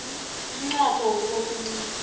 umnqopho wokubopha umuntu